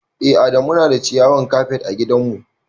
Eh a da Muna da ciyawan kafet ã gidan mu.